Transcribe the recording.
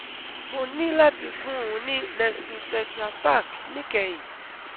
Mo ní láti fún un ní Nestle tetra pack níkẹyìn